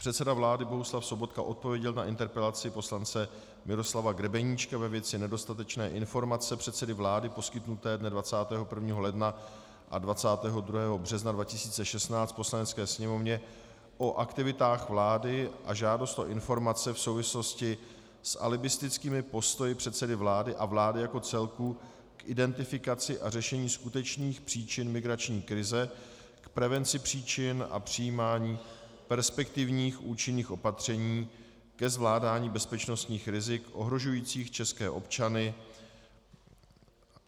Předseda vlády Bohuslav Sobotka odpověděl na interpelaci poslance Miroslava Grebeníčka ve věci nedostatečné informace předsedy vlády poskytnuté dne 21. ledna a 22. března 2016 Poslanecké sněmovně o aktivitách vlády a žádost o informace v souvislosti s alibistickými postoji předsedy vlády a vlády jako celku k identifikaci a řešení skutečných příčin migrační krize, k prevenci příčin a přijímání perspektivních účinných opatření ke zvládání bezpečnostních rizik ohrožujících české občany.